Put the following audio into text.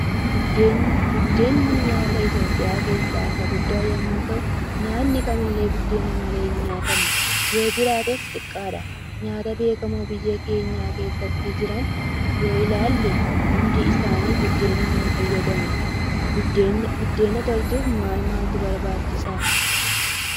Buddeenni nyaata iitoophiya keessa isa guddaa yommuu ta'uu nyaanni kamiillee buddeena malee hin nyaatamu. Yoo jiraates xiqqaadha. Nyaata beekamo biyya keenya keessatti jiran yoo ilaalle hundi isaani buddeena ni fayyadamu. Buddeena tolchuuf maal maaltu barbaachisa?